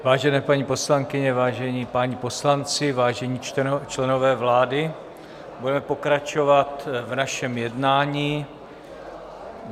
Vážené paní poslankyně, vážení páni poslanci, vážení členové vlády, budeme pokračovat v našem jednání.